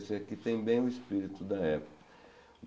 Esse aqui tem bem o espírito da época.